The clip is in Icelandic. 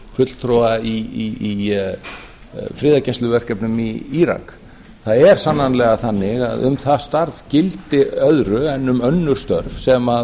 fulltrúa í friðargæsluverkefnunum í írak það er sannarlega þannig að um það starf gildir annað en um önnur störf sem